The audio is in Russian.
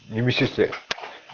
и медсестре